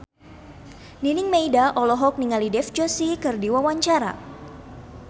Nining Meida olohok ningali Dev Joshi keur diwawancara